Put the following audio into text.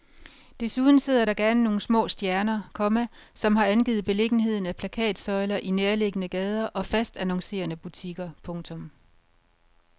Desuden sidder der gerne nogle små stjerner, komma som har angivet beliggenheden af plakatsøjler i nærliggende gader og fast annoncerende butikker. punktum